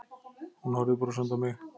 Hún horfði brosandi á mig.